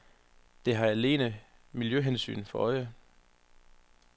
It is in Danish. Det har alene miljøhensyn for øje.